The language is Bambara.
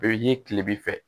A bɛ ye kile b'i fɛ